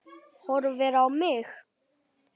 Horfir á mig.